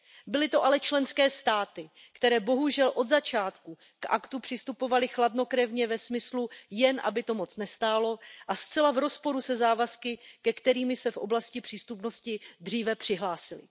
Byly to ale členské státy, které bohužel od začátku k aktu přistupovaly chladnokrevně ve smyslu Jen aby to moc nestálo. a zcela v rozporu se závazky, ke kterým se v oblasti přístupnosti dříve přihlásily.